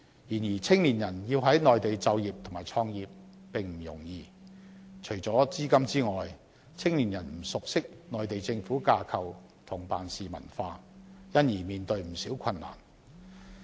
然而，青年人要在內地就業和創業並不容易，除了資金之外，他們不熟悉內地政府的架構及辦事文化，因而面對不少困難。